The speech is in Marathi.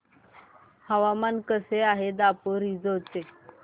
हवामान कसे आहे दापोरिजो चे